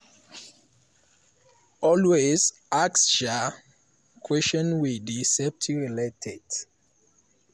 always ask um questions wey dey safety related."